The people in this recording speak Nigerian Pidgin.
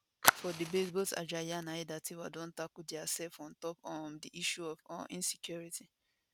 for debate both ajayi and aiyedatiwa don tackle diasef ontop um di issue of um insecurity